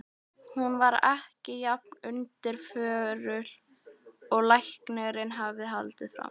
Hún var ekki jafn undirförul og læknirinn hafði haldið fram.